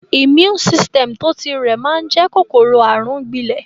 Immune system tó ti rẹ̀ máa n jẹ kòkòrò àrùn gbílẹ́